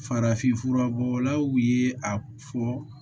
Farafinfura bɔlaw ye a fɔ